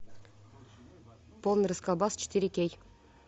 полный расколбас четыре кей